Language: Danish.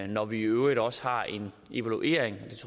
når vi i øvrigt også har en evaluering